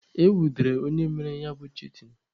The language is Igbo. E nwudere onye mere ya bụ chitin?